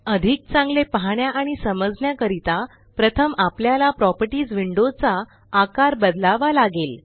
अधिक चांगले पहाण्या आणि समजण्या करीता प्रथम आपल्याला प्रॉपर्टीस विंडो चा आकार बदलावा लागेल